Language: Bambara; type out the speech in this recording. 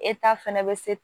fɛnɛ bɛ se